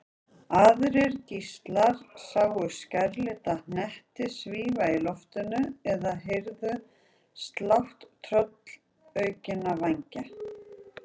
Aðrir gíslar sáu skærlita hnetti svífa í loftinu eða heyrðu slátt tröllaukinna vængja.